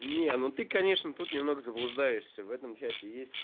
не ну ты конечно тут немного заблуждаешься в этом чате есть